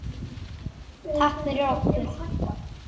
Takk fyrir okkur.